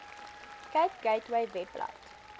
cape gateway webblad